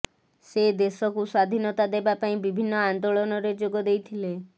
ସେ ଦେଶକୁ ସ୍ୱାଧୀନତା ଦେବା ପାଇଁ ବିଭିନ୍ନ ଆନ୍ଦୋଳନରେ ଯୋଗ ଦେଇଥିଲେ